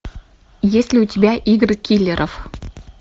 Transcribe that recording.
есть ли у тебя игры киллеров